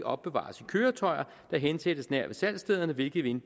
opbevares i køretøjer der hensættes nær ved salgsstederne hvilket vil